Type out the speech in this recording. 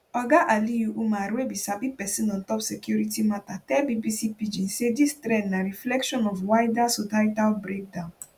oga aliyu umar wey be sabi pesin on top security matter tell bbc pidgin say dis trend na reflection of wider societal breakdown